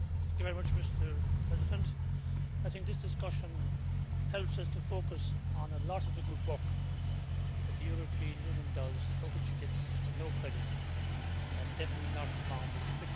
Mr President, I think this discussion helps us to focus on a lot of the good work that the European Union does, for which it gets no credit, and definitely not from its critics.